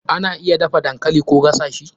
Ana iya dafa dankali Koh gasa shi.